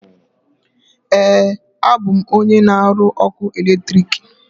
Ee, abụ m onye na aru ọkụ eletrik.